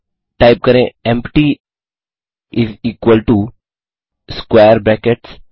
फिर टाइप करें empty is equal to square brackets